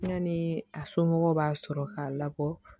Yani a somɔgɔw b'a sɔrɔ k'a labɔ